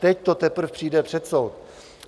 Teď to teprve přijde před soud.